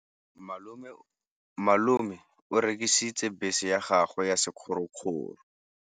Malome o rekisitse bese ya gagwe ya sekgorokgoro.